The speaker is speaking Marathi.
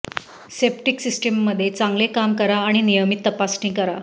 सेप्टिक सिस्टीममध्ये चांगले काम करा आणि नियमित तपासणी करा